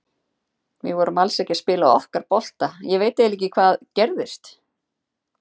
Við vorum alls ekki að spila okkar bolta, ég veit eiginlega ekki hvað gerðist.